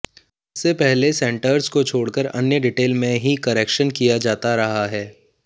इससे पहले सेंटर्स को छोड़कर अन्य डिटेल में ही करेक्शन किया जाता रहा है